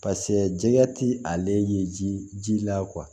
pase jɛgɛ ti ale ye ji ji la